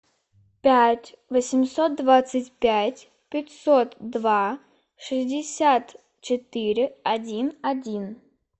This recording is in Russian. пять восемьсот двадцать пять пятьсот два шестьдесят четыре один один